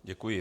Děkuji.